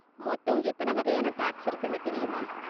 மொத்தம் எத்தனை வகையான டேக்ஸ் இருக்குனு தெரியுமா?